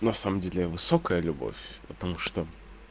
на самом деле высокая любовь потому что